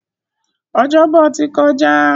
Ọjọ́bọ̀ ti kọjá.